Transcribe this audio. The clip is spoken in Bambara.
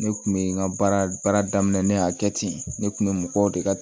Ne kun bɛ n ka baara daminɛ ne y'a kɛ ten ne kun bɛ mɔgɔw de ka